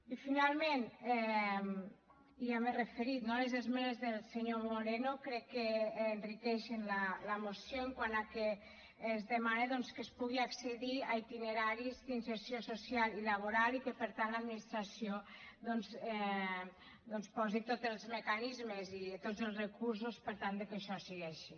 i finalment ja m’hi he referit no a les esmenes del senyor moreno crec que enriqueixen la moció en quant a que es demana doncs que es pugui accedir a itineraris d’inserció social i laboral i que per tant l’administració posi tots els mecanismes i tots els recursos per tal que això sigui així